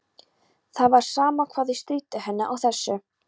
Það var sama hvað þau stríddu henni á þessu.